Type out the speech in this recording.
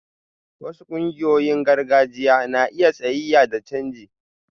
Wasu ƙungiyoyin gargajiya na iya tsayayya da canji